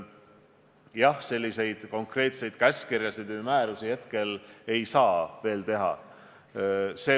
Aga konkreetseid käskkirju või määrusi hetkel veel ei saa teha.